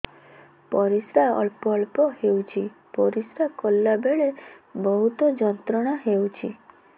ପରିଶ୍ରା ଅଳ୍ପ ଅଳ୍ପ ହେଉଛି ପରିଶ୍ରା କଲା ବେଳେ ବହୁତ ଯନ୍ତ୍ରଣା ହେଉଛି